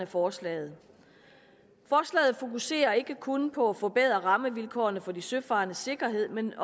forslaget fokuserer ikke kun på at forbedre rammevilkårene for de søfarendes sikkerhed men